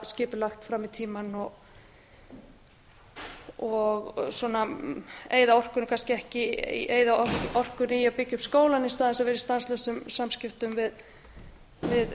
skipulagt fram í tímann og eytt orkunni í að byggja upp skólann í stað þess að vera í stanslausum samskiptum við